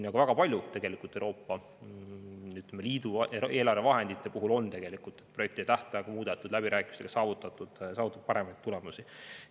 Väga paljude Euroopa Liidu eelarvevahendite puhul on tegelikult projekti tähtaegu muudetud ja läbirääkimistel saavutatud paremaid tulemusi.